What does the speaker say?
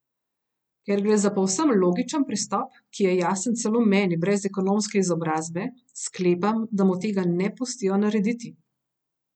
Ker gre za povsem logičen pristop, ki je jasen celo meni brez ekonomske izobrazbe, sklepam, da mu tega ne pustijo narediti.